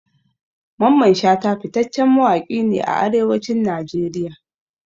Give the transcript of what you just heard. Mamman shata fitaccen mawaƙi ne a Arewacin Najeriya.